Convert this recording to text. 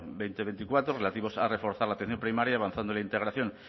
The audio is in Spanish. dos mil veinticuatro relativos a reforzar la atención primaria y avanzando en la integración